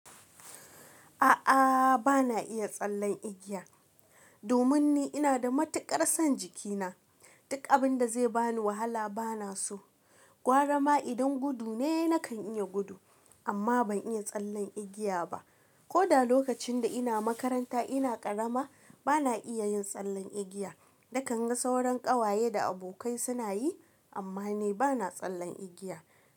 A'a, bana iya tsallen igiya. Domin ni ina da matuƙar son jikina, duk abin da zai bani wahala bana so. Gwara ma idan gudu ne, nakan iya gudu, amma ban iya tsallen igiya ba. Ko da lokacin da ina makaranta ina karama bana iya yin tsallen igiya. Nakan ga sauran ƙawaye da abokai suna yi, amma ni bana tsallen igiya.